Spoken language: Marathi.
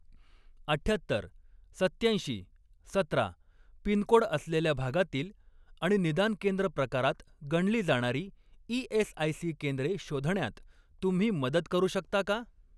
अठ्ठ्यात्तर, सत्त्याऐंशी, सतरा पिनकोड असलेल्या भागातील आणि निदान केंद्र प्रकारात गणली जाणारी ई.एस.आय.सी. केंद्रे शोधण्यात तुम्ही मदत करू शकता का?